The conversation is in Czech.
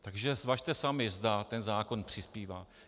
Takže zvažte sami, zda ten zákon přispívá.